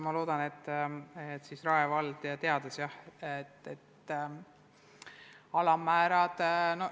Ma loodan, et Rae vald seega teadis, millised on alammäärad.